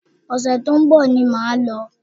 Ọ̀sẹ̀ tó ń bọ̀ ni mo máa lọ